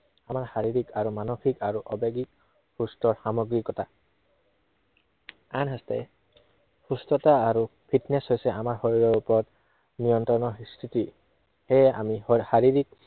আমাৰ শাৰীৰিক আৰু মানসিক আৰু আৱেগিক সুস্থ সামগ্ৰিকতা। আনহাতে সুস্থতা আৰু fitness হৈছে আমাৰ শৰীৰৰ ওপৰত নিয়ন্ত্ৰণৰ স্থিতি। সেয়ে আমি শা~শাৰীৰিক